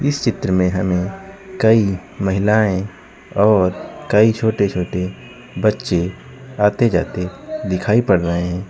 इस चित्र में हमें कई महिलाएं और कई छोटे छोटे बच्चे आते जाते दिखाई पड़ रहे--